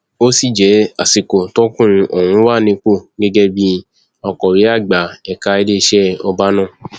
ó sì jẹ àsìkò tọkùnrin ọhún wà nípò gẹgẹ bíi akọwé àgbà ẹka iléeṣẹ ọba náà